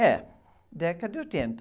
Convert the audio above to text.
É, década de oitenta